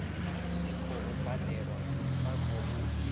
si khou badelwa vha khou